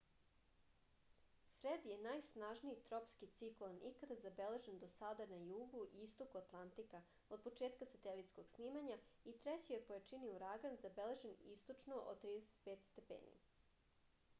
фред је најснажнији тропски циклон икада забележен до сада на југу и истоку атлантика од почетка сателитског снимања и трећи је по јачини ураган забележен источно од 35°w